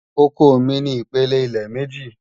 Ọkọ mi ni ìpílẹ ilẹ̀ mẹ́jì